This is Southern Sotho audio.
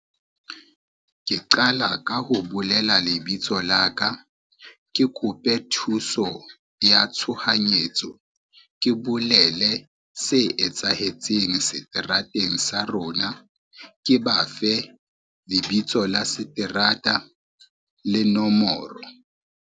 Ke qala ka ho bolela lebitso la ka, ke kope thuso ya tshohanyetso, ke bolele se etsahetseng seterateng sa rona, ke ba fe lebitso la seterata le nomoro.